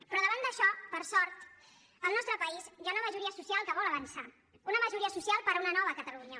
però davant d’això per sort al nostre país hi ha una majoria social que vol avançar una majoria social per a una nova catalunya